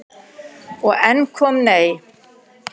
Og enn kom nei.